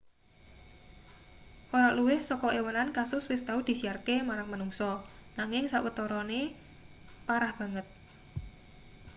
ora luwih saka ewonan kasus wis tau disiarke marang manungsa nanging sawetarane parah banget